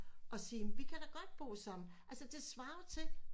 Og sig vi kan da godt bo sammen altså det svarer jo til